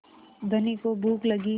धनी को भूख लगी